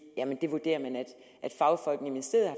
at man vurderer at fagfolkene i ministeriet